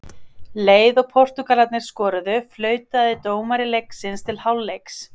Leið og Portúgalarnir skoruðu, flautaði dómari leiksins til hálfleiks.